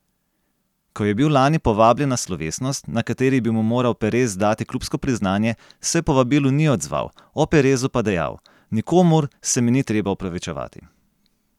Ko je bil lani povabljen na slovesnost, na kateri bi mu moral Perez dati klubsko priznanje, se povabilu ni odzval, o Perezu pa dejal: 'Nikomur se mi ni treba opravičevati.